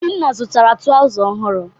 Obinna zụtara trawza ọhụrụ.